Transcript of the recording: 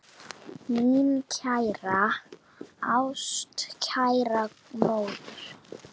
Mín kæra, ástkæra móðir.